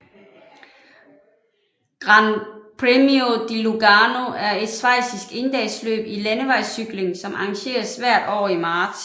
Gran Premio di Lugano er et schweizisk endagsløb i landevejscykling som arrangeres hvert år i marts